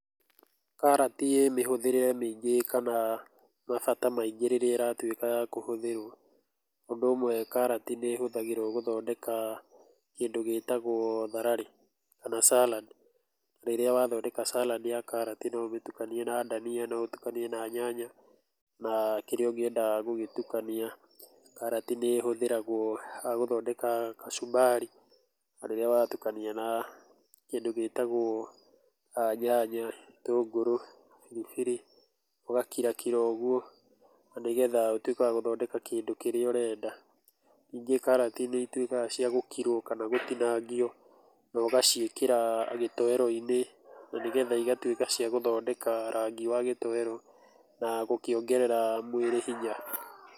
Karati ĩĩ mĩhũthĩre mĩingĩ kana mabata maingĩ rĩrĩa ĩratuĩka ya kũhũthĩrũo. Ũndũ ũmwe karati nĩ ĩhũthagĩrwo gũthondeka kĩndũ gĩtagũo thararĩ kana salad. Rĩrĩa wathondeka salad ya karati no ũmĩtukanie na dania, no ũtukanie na nyanya na kĩrĩa ũngienda gũgĩtukania. Karati ni ihũthagĩrwo gũthondeka kachumbari na rĩrĩa watukania na kĩndũ gĩtagũo nyanya, gĩtũngũrũ, biribiri, ũgakirakira ũguo na nĩgetha ũtuĩke wa gũthondeka kĩndũ kĩrĩa ũrenda. Ningĩ karati nĩ ituĩkaga cia gũkirũo kana cia gũtinangio no ũgaciĩkĩra gĩtoero-inĩ na nĩgetha igatuĩka cia gũthondeka rangi wa gĩtoero na gũkĩongerera mwĩrĩ hinya.